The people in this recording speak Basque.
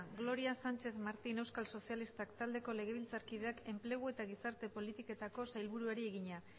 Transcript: gloria sánchez martín euskal sozialistak taldeko legebiltzarkideak enplegu eta gizarte politiketako sailburuari egina